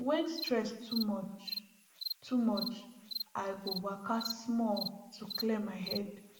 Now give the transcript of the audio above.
when stress too much too much i go waka small to clear my head